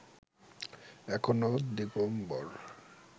এখনো দিগম্বর